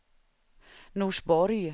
Norsborg